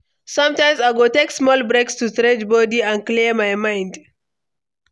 Sometimes, I go take small break to stretch body and clear my mind.